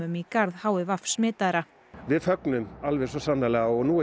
í garð h i v smitaðra við fögnum alveg svo sannarlega og nú er